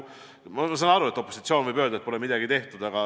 Ma saan aru, et opositsioon võib öelda, et pole midagi tehtud.